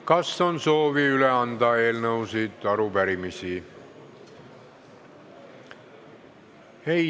Kas on soovi üle anda eelnõusid või arupärimisi?